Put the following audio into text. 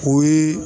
O ye